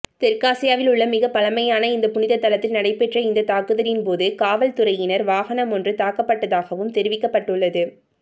தெற்காசியவில் உள்ள மிகப் பழமையான இந்த புனிதத்தலத்தில் நடைபெற்ற இந்த தாக்குதலின் போது காவல்துறையினர் வாகனம் ஒன்று தாக்கப்பட்டதாகவும் தெரிவிக்கப்படம்டுள்ளது